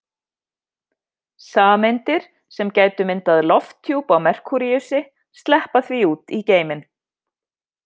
Sameindir sem gætu myndað lofthjúp á Merkúríusi sleppa því út í geiminn.